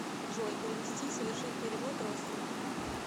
джой перевести совершить перевод родственнику